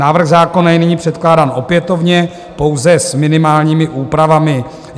Návrh zákona je nyní předkládán opětovně, pouze s minimálními úpravami.